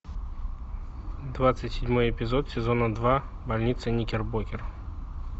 двадцать седьмой эпизод сезона два больница никербокер